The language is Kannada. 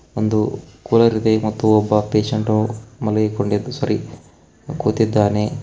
ಒಂದು ಕೂಲರ್ ಇದೆ ಮತ್ತು ಒಬ್ಬ ಪೇಷಂಟು ಮಲಗಿಕೊಂಡಿದ್ದು ಸಾರಿ ಕೂತಿದ್ದಾನೆ.